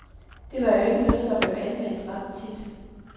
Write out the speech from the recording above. Det var jo ikke noget, der blev anvendt ret tit.